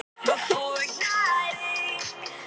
BENEDIKT: Alþingi hefur samvisku.